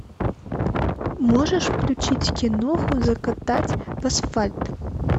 можешь включить киноху закатать в асфальт